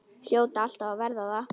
Hljóta alltaf að verða það.